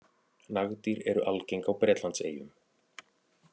Nagdýr eru algeng á Bretlandseyjum.